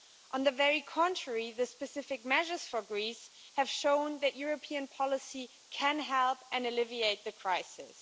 Quite the contrary, the specific measures for Greece have shown that European policy can help and alleviate the crisis.